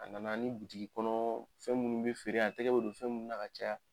A nana ani bitigi kɔnɔ fɛn minnu bɛ feere yan a tɛgɛ bɛ don fɛn minnu na ka caya.